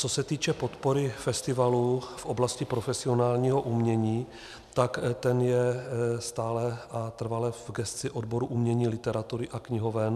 Co se týče podpory festivalů v oblasti profesionálního umění, tak to je stále a trvale v gesci odboru umění, literatury a knihoven.